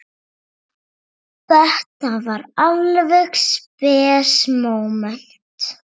Þetta var alveg spes móment.